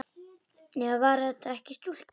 Eða var það ekki stúlka?